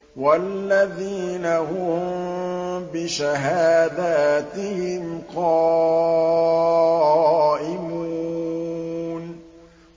وَالَّذِينَ هُم بِشَهَادَاتِهِمْ قَائِمُونَ